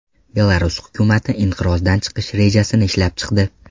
Belarus hukumati inqirozdan chiqish rejasini ishlab chiqdi.